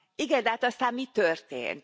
Igen, de hát aztán mi történt?